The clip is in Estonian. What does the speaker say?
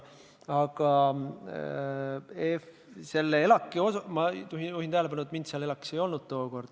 Aga selle ELAK-i puhul ma juhin tähelepanu, et mind seal tookord ei olnud.